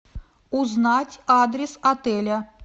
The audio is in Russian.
узнать адрес отеля